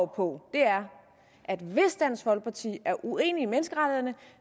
på er at hvis dansk folkeparti er uenig i menneskerettighederne